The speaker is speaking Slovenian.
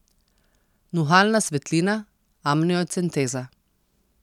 Nuhalna svetlina, amniocenteza.